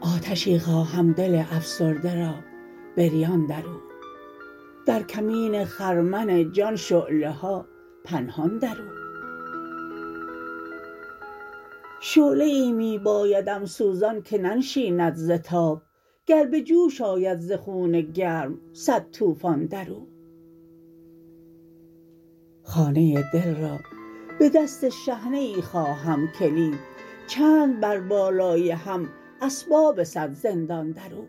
آتشی خواهم دل افسرده را بریان در او در کمین خرمن جان شعله ها پنهان در او شعله ای می بایدم سوزان که ننشیند ز تاب گر بجوش آید ز خون گرم سد توفان در او خانه دل را به دست شحنه ای خواهم کلید چند بر بالای هم اسباب سد زندان در او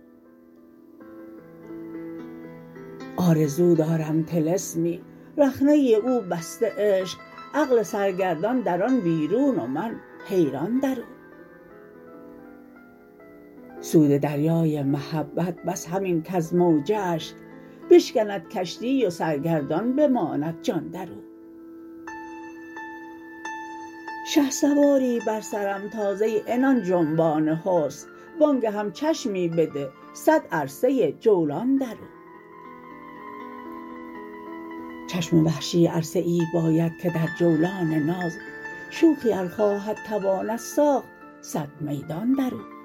آرزو دارم طلسمی رخنه او بسته عشق عقل سرگردان در آن بیرون و من حیران در او سود دریای محبت بس همین کز موجه اش بشکند کشتی و سرگردان بماند جان در او شهسواری بر سرم تاز ای عنان جنبان حسن وانگهم چشمی بده سد عرصه جولان دراو چشم وحشی عرصه ای باید که در جولان ناز شوخی ار خواهد تواند ساخت سد میدان در او